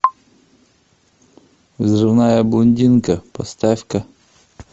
взрывная блондинка поставь ка